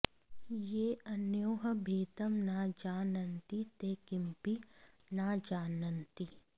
ये अनयोः भेदं न जानन्ति ते किमपि न जानन्ति